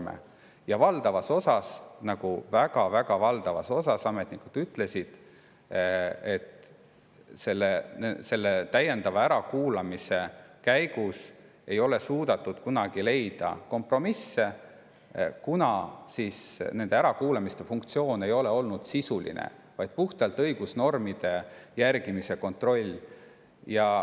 Ametnikud ütlesid, et valdavas osas – väga-väga valdavas osas – ei ole suudetud selle täiendava ärakuulamise käigus kompromisse leida, kuna ärakuulamise eesmärk ei ole olnud sisuline ärakuulamine, vaid puhtalt õigusnormide järgimise kontroll.